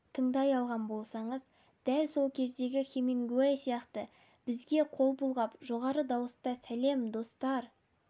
тыңдай алған болсаңыз дәл сол кездегі хемингуэй сияқты бізге қол бұлғап жоғары дауыста сәлем достар